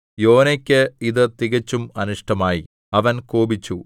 യോനായ്ക്ക് ഇത് തികച്ചും അനിഷ്ടമായി അവൻ കോപിച്ചു